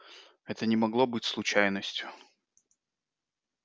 это не могло быть случайностью